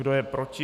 Kdo je proti?